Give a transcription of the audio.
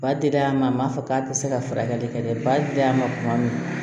Ba dila a ma a m'a fɔ k'a tɛ se ka furakɛli kɛ dɛ ba tɛ y'a ma tuma min